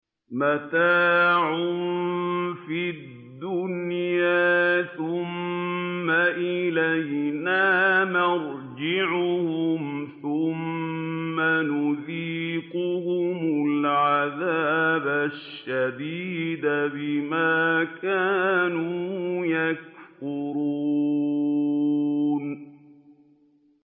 مَتَاعٌ فِي الدُّنْيَا ثُمَّ إِلَيْنَا مَرْجِعُهُمْ ثُمَّ نُذِيقُهُمُ الْعَذَابَ الشَّدِيدَ بِمَا كَانُوا يَكْفُرُونَ